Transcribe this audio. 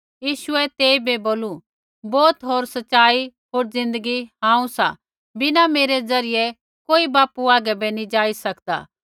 यीशुऐ तेइबै बोलू बौत होर सच़ाई होर ज़िन्दगी हांऊँ सा बिना मेरै ज़रियै कोई बापू हागै बै नैंई जाई सकदा